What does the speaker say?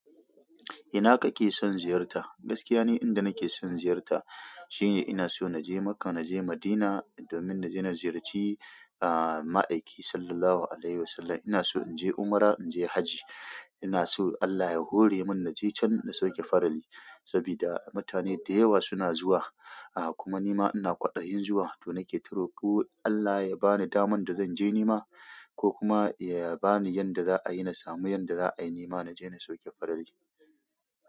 Ina kake son ziyarta? Gaskiya ni inda nake son ziyarta shine ina so na je Makka, na je Madina domin na je na ziyarci a'a, Ma'aiki Sallallahu Alaihi Wasallam. Ina so in je umra, in je hajji. Ina so Allah ya hore min na je can na sauke farali sabida mutane da yawa suna zuwa. A kuma nima ina kwaɗayin zuwa to nake ta roƙo Allah ya bani daman da zanje nima ko kuma ya bani yadda za a yi na samu yadda za a yi ni ma na je na sauke farali.